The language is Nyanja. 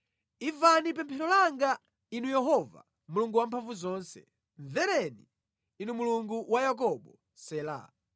Imvani pemphero langa, Inu Yehova Mulungu Wamphamvuzonse; mvereni Inu Mulungu wa Yakobo. Sela